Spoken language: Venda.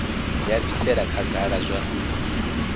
ya bvisela khagala kha zwa